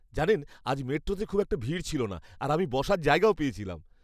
জানেন আজ মেট্রোতে খুব একটা ভিড় ছিলনা আর আমি বসার জায়গাও পেয়েছিলাম।